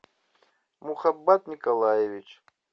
мухаббат николаевич